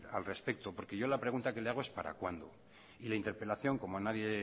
al respecto porque yo la pregunta que le hago es para cuándo y la interpelación como a nadie